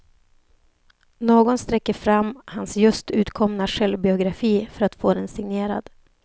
Någon sträcker fram hans just utkomna självbiografi för att få den signerad.